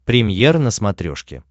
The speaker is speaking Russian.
премьер на смотрешке